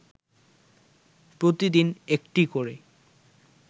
প্রতিদিন একটি করে